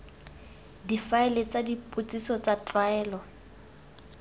difaele tsa dipotsiso tsa tlwaelo